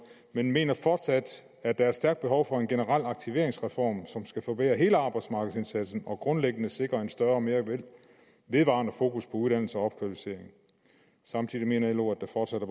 men man mener fortsat at der er stærkt behov for en generel aktiveringsreform som skal forbedre hele arbejdsmarkedsindsatsen og grundlæggende sikre et større og mere vedvarende fokus på uddannelse og opkvalificering samtidig mener lo at der fortsat